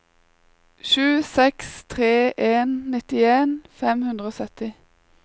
sju seks tre en nittien fem hundre og sytti